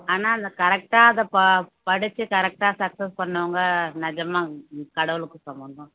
ஆனா அத correct ஆ அதை ப படிச்சு correct ஆ success பண்ணவங்க நிஜமா கடவுளுக்கு சமம்தான்